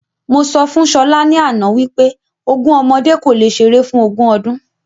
Mo sọ fún Ṣọlá ni àná wípé ogún ọmọdé kò le ṣeré fún ogún ọdún